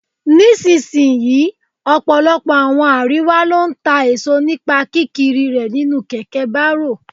Ní sisìyín, ọ̀pọ̀lọpọ̀ àwọn àríwá ló ń ta èso nípa kí kiri rè nínú kẹ̀kẹ́ bárò.